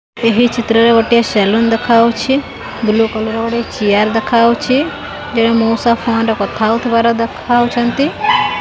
ଏହି ଚିତ୍ରରେ ଗୋଟିଏ ସେଲୁନ୍ ଦେଖାହୋଉଛି ବ୍ଲୁ କଲର ଗୋଟେ ଚିଆର୍ ଦେଖାହୋଉଛି ଜଣେ ମୋଉସା ଫୋନ୍ ରେ କଥା ହୋଉଥୁବାର ଦେଖାହୋଉଛନ୍ତି।